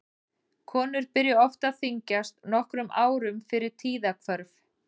Konur byrja oft að þyngjast nokkrum árum fyrir tíðahvörf.